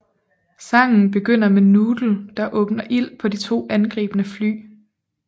Sangen begynder med Noodle der åbner ild på de to angribende fly